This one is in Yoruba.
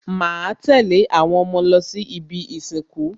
Màá tẹ̀lé àwọn ọmọ lọ sí ibi ìsìnkú